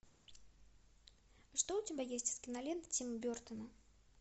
что у тебя есть из кинолент тима бертона